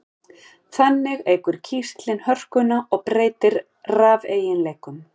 Þannig eykur kísillinn hörkuna og breytir rafeiginleikum.